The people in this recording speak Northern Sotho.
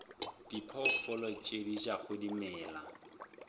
diphoofolo tše di jago dimela